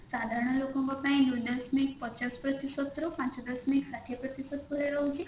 ସାଧାରଣ ଲୋକଙ୍କ ପାଇଁ ଦୁଇ ଦଶମିକ ପଚାଶ ପ୍ରତିଷଦରୁ ପାଞ୍ଚ ଦଶମିକ ଷାଠିଏ ପ୍ରତିଷଦ ଭଳିଆ ରହୁଛି